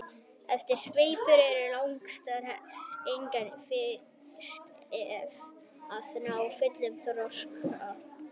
efsti sveipur er langstærstur og einnig fyrstur að ná fullum þroska